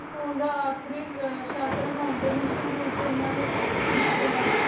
school ਦਾ ਆਖਰੀ ਸ਼ਾਤਰ ਹੁਣ ਦਾ ਨਿਸ਼ਰ ਰੂਪਚ ਹੁਣ ਦਾ ਕੀਤਾ